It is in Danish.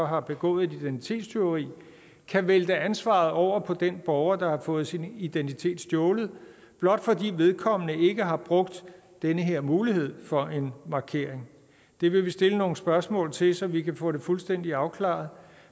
har begået et identitetstyveri kan vælte ansvaret over på den borger der har fået sin identitet stjålet blot fordi vedkommende ikke har brugt den her mulighed for en markering det vil vi stille nogle spørgsmål til så vi kan få det fuldstændig afklaret